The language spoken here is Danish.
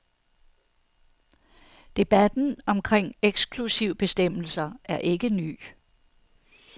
Debatten omkring eksklusivbestemmelser er ikke ny.